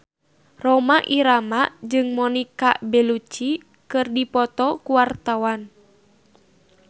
Rhoma Irama jeung Monica Belluci keur dipoto ku wartawan